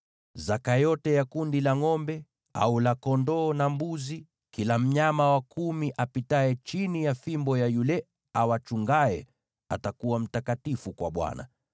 Zaka yote ya kundi la ngʼombe au la kondoo na mbuzi, kila mnyama wa kumi apitaye chini ya fimbo ya yule awachungaye, atakuwa mtakatifu kwa Bwana .